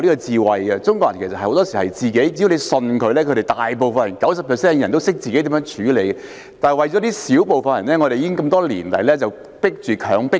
對於中國人，很多時候，只要相信他們，有 90% 的人都懂得自行處理，但為了小部分人，我們多年來被迫實行"強迫金"。